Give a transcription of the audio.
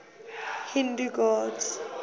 hindu gods